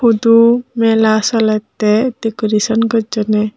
hudu mela solette decoration gochunne.